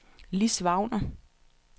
Lis Wagner